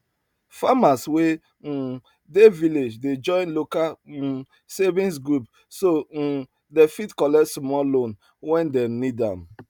farmers wey um dey village dey join local um savings group so um dem fit collect small loan when dem need am